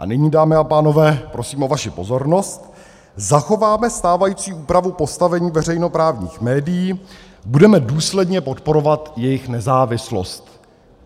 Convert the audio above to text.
A nyní, dámy a pánové, prosím o vaši pozornost: Zachováme stávající úpravu postavení veřejnoprávních médií, budeme důsledně podporovat jejich nezávislost.